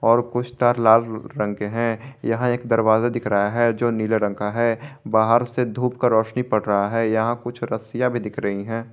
और कुछ तार लाल रंग के हैं यहां एक दरवाजा दिख रहा है जो नीले रंग का है बाहर से धूप का रोशनी पड़ रहा है यहां कुछ रस्सियां भी दिख रही हैं।